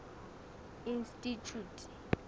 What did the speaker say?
institjhute